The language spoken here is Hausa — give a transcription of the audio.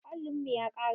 Allin mu ya ƙare